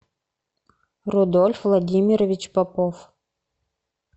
рудольф владимирович попов